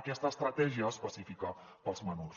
aquesta estratègia específica per als menors